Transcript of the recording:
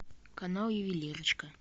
канал ювелирочка